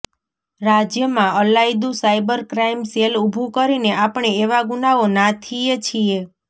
રાજ્યમાં અલાયદું cyber crime cell ઊભું કરીને આપણે એવા ગુનાઓ નાથીએ છીએ